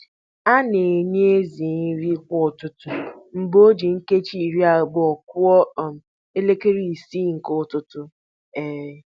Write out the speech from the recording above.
A na-enye ezì nri kwa ụtụtụ mgbe o ji nkeji iri abụọ kụọ um elekere isii nke ụtụtụ. um